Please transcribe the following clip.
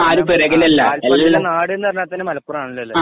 ആ കാൽപ്പന്തിന്റെ നാടുന്നു പറഞാ തന്നെ മലപ്പുറം ആണല്ലോ അല്ലെ